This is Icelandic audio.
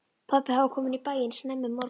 Pabbi hafði komið í bæinn snemma um morguninn.